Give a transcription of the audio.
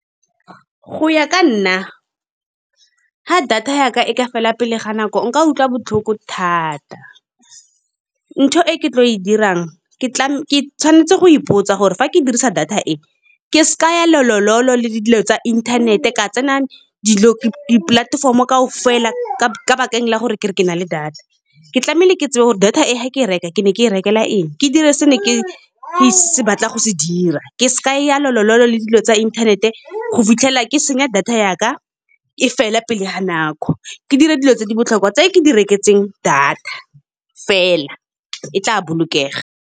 Go ya ka nna ga data yaka e ka fela pele ga nako nka utlwa botlhoko thata. Ntho e ke tlo e dirang ke tla ke tshwanetse go ipotsa gore fa ke dirisa data e, ke sa ya lolololo, le le dilo tsa inthanete ka tsena dipolatefomo kaofela ka bakeng la gore kere ke na le data. Ke tlameile ke tsebe gore data e ga ke e reka ke ne ke e rekela eng, ke dire se ne ke e se batlang go se dira. Ke seka ka ya lolololo le dilo tsa inthanete, go fitlhelela ke senya, data yaka e fela pele ga nako. Ke dire dilo tse di botlhokwa tse ke di reketseng data fela, e tla bolokega.